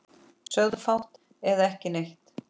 Sögðum fátt eða ekki neitt.